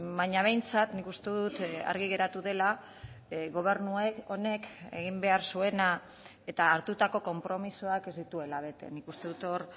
baina behintzat nik uste dut argi geratu dela gobernu honek egin behar zuena eta hartutako konpromisoak ez dituela bete nik uste dut hor